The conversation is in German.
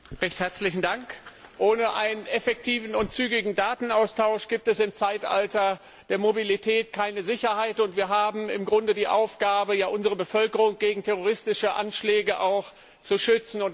Herr Präsident! Ohne einen effektiven und zügigen Datenaustausch gibt es im Zeitalter der Mobilität keine Sicherheit, und wir haben im Grunde die Aufgabe, unsere Bevölkerung gegen terroristische Anschläge zu schützen.